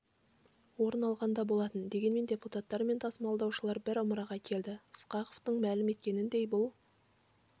орын алған да болатын дегенмен депутаттар мен тасымалдаушылар бір ымыраға келді ысқақовтың мәлім еткеніндей бұл